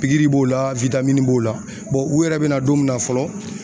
Pikiri b'o la b'o la u yɛrɛ be na don min na fɔlɔ